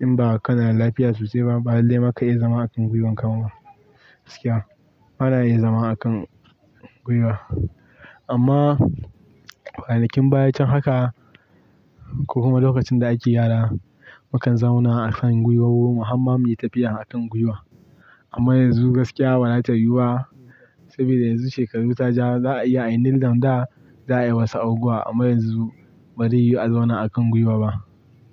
In ba kana lafiya sosai ba, ba dallai ma ka iya zama a kan gwiwan ka ba. Gaskiya. Bana iya zama a kan gwiwa. Amma, kwana kin baya can haka, ko kuma lokacin da ake gyara, makan zauna a kan gwiwowo mu hamma yi tafiya a kan gwiwa. Amma yanzu gaskiya bara ta yuba. Sabida yanzu shekaru ta ja, za a iya a nildown da za a yi wasu abubuwa. Amma yanzu, barai yi azauna a kan gwiwa ba.